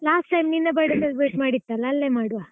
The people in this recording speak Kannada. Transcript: Last year ನಿನ್ನ birthday celebrate ಮಾಡಿತ್ತಲ್ಲ, ಅಲ್ಲೆ ಮಾಡುವ.